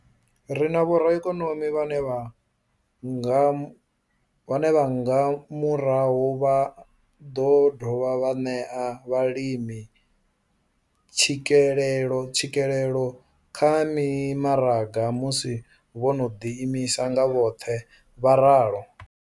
Ri na vhoraikonomi vhane nga murahu vha ḓo dovha vha ṋea vhalimi tshikelelo tshikelelo kha mimaraga musi vho no ḓi imisa nga vhoṱhe, vho ralo.